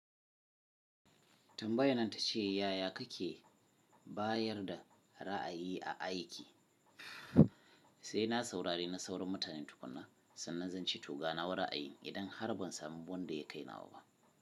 Tambaya nan ta ce, yaya kake bayar da ra'ayi a aiki? Sai na saurari na sauran mutanen tukuna, sannan zan ce to ga na wa ra'ayi idan har ban samu wanda ya kai nawa ba.